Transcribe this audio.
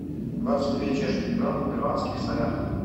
двадцать две чешских крон в перуанских солях